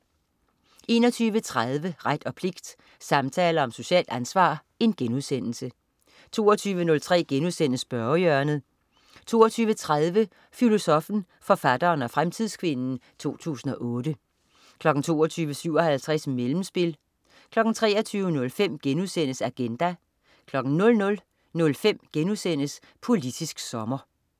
21.30 Ret og pligt, samtaler om socialt ansvar* 22.03 Spørgehjørnet* 22.30 Filosoffen, forfatteren og fremtidskvinden 2008 22.57 Mellemspil 23.05 Agenda* 00.05 Politisk sommer*